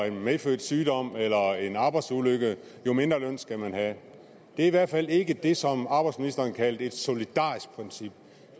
en medfødt sygdom eller en arbejdsulykke jo mindre løn skal man have det er i hvert fald ikke det som arbejdsministeren kaldte et solidarisk princip